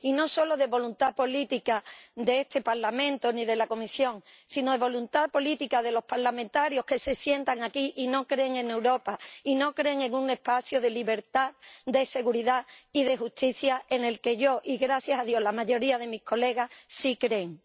y no solo de voluntad política de este Parlamento, ni de la Comisión, sino de voluntad política de los parlamentarios que se sientan aquí y no creen en Europa y no creen en un espacio de libertad, de seguridad y de justicia, en el que yo y, gracias a Dios la mayoría de mis colegas, sí creemos.